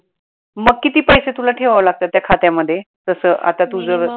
मग किती पैसे तुला ठेवाव लागतात त्या खात्यामध्ये, जस आता तुझं